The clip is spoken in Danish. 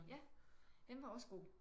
Ja den var også god